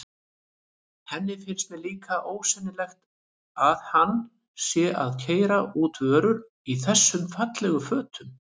Henni finnst líka ósennilegt að hann sé að keyra út vörur í þessum fallegu fötum.